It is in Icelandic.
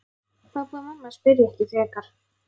Pabbi og mamma spyrja ekki frekar.